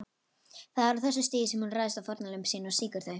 Það er á þessu stigi sem hún ræðst á fórnarlömb sín og sýkir þau.